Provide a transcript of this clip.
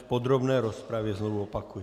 V podrobné rozpravě, znovu opakuji.